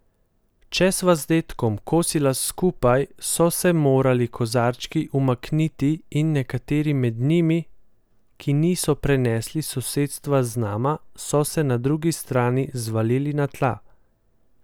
Če sva z dedkom kosila skupaj, so se morali kozarčki umakniti, in nekateri med njimi, ki niso prenesli sosedstva z nama, so se na drugi strani zvalili na tla.